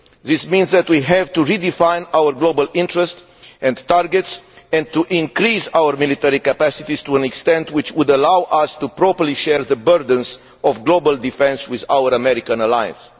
This means that we have to redefine our global interest and targets, and increase our military capacities to an extent which will allow us properly to share the burdens of global defence with our American allies.